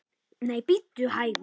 Nei, bíddu hægur!